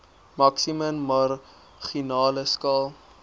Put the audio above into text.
maksimum marginale skaal